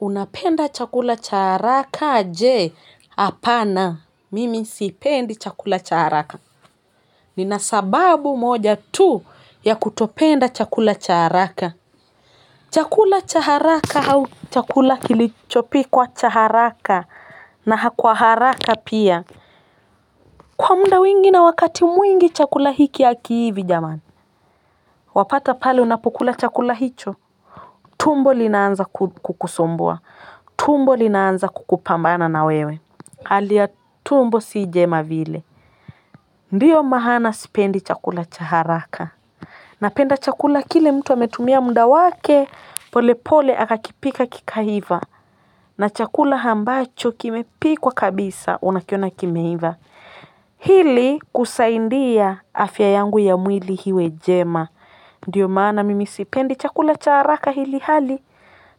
Unapenda chakula cha haraka je? Hapana mimi sipendi chakula cha haraka. Nina sababu moja tu ya kutopenda chakula cha haraka chakula cha haraka au chakula kilichopikwa cha haraka na kwa haraka pia kwa muda wingi na wakati mwingi chakula hiki hakiivi jamani. Wapata pale unapokula chakula hicho tumbo linaanza kukusumbua. Tumbo li naanza kukupambana na wewe. Hali ya tumbo si jema vile. Ndiyo maana sipendi chakula cha haraka. Napenda chakula kile mtu ametumia muda wake, polepole akakipika kikaiva. Na chakula ambacho kimepikwa kabisa unakiona kimeiva. Ili kusaidia afya yangu ya mwili iwe njema ndiyo maana mimi sipendi chakula cha haraka ilhali